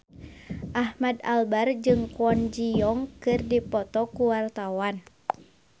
Ahmad Albar jeung Kwon Ji Yong keur dipoto ku wartawan